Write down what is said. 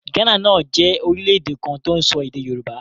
Ghana náà jẹ́ orílẹ̀ èdè kan tó ń sọ èdè Yorùbá.